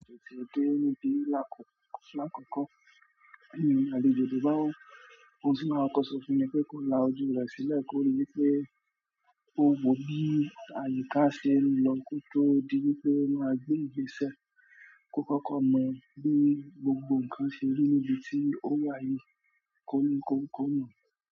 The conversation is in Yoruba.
Ètè òde níbi ìlàkòkò ko la ojú re sile o wò bí àyíká ṣe ń lọ kó tó di wípé máa gbé ìgbésẹ̀ kó kọ́kọ́ mọ bí gbogbo ǹkan ṣe rí níbi tí ó wà yìí kó ní kó mọ̀